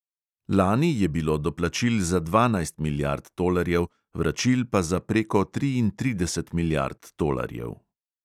Lani je bilo doplačil za dvanajst milijard tolarjev, vračil pa za preko triintrideset milijard tolarjev.